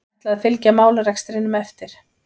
Ætla að fylgja málarekstrinum eftir